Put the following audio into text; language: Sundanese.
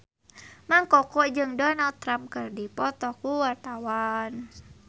Mang Koko jeung Donald Trump keur dipoto ku wartawan